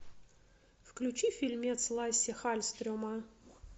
включи фильмец лассе хальстрема